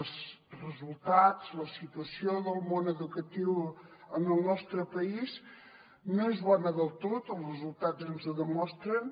els resultats la situació del món educatiu en el nostre país no és bona del tot els resultats ens ho demostren